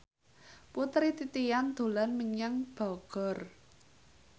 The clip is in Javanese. Putri Titian dolan menyang Bogor